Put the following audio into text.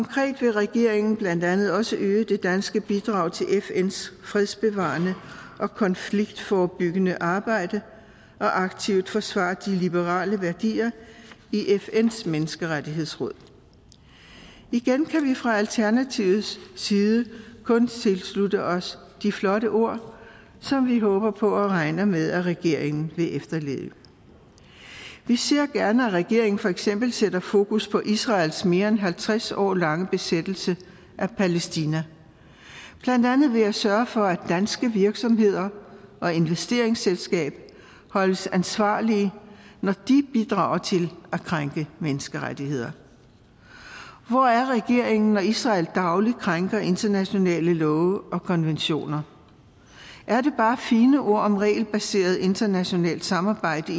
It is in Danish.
regeringen blandt andet også øge det danske bidrag til fns fredsbevarende og konfliktforebyggende arbejde og aktivt forsvare de liberale værdier i fns menneskerettighedsråd igen kan vi fra alternativets side kun tilslutte os de flotte ord som vi håber på og regner med at regeringen vil efterleve vi ser gerne at regeringen for eksempel sætter fokus på israels mere end halvtreds år lange besættelse af palæstina blandt andet ved at sørge for at danske virksomheder og investeringsselskaber holdes ansvarlige når de bidrager til at krænke menneskerettigheder hvor er regeringen når israel dagligt krænker internationale love og konventioner er det bare fine ord om regelbaseret internationalt samarbejde